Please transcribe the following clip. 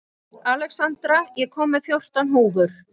Alexandra, ég kom með fjórtán húfur!